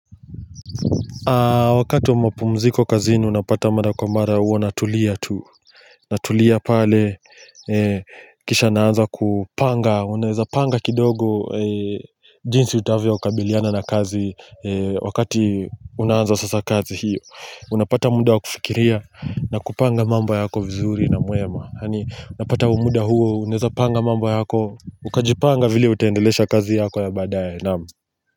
Wakati wa mapumziko kazini unapata mara kwa mara huwa natulia tu Natulia pale kisha naanza kupanga Unaweza panga kidogo jinsi utavyo kabiliana na kazi Wakati unaanza sasa kazi hiyo Unapata muda wa kufikiria na kupanga mambo yako vizuri na mwema yaani unapata muda huo uneza panga mambo yako Ukajipanga vile utaendelesha kazi yako ya baadaye Naam.